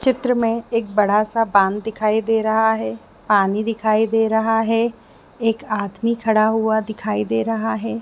चित्र में बड़ा सा दिखाई दे रहा है दिखाई दे रहा है एक आदमी खड़ा हुआ दिखाई दे रहा है।